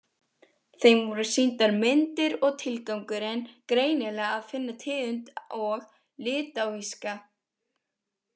Þeim voru sýndar myndir og tilgangurinn greinilega að finna tegund og litáíska.